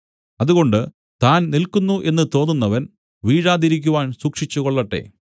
അതുകൊണ്ട് താൻ നില്ക്കുന്നു എന്ന് തോന്നുന്നവൻ വീഴാതിരിക്കുവാൻ സൂക്ഷിച്ചുകൊള്ളട്ടെ